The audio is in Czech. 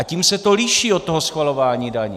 A tím se to liší od toho schvalování daní.